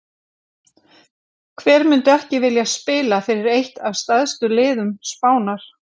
Hver myndi ekki vilja spila fyrir eitt af stærstu liðum Spánar?